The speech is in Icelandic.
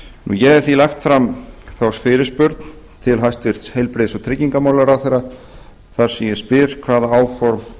ég hef því lagt fram fyrirspurn til hæstvirtum heilbrigðis og tryggingamálaráðherra þar sem ég spyr hvaða áform